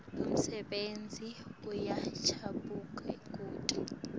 umsebenti uyachubeka kute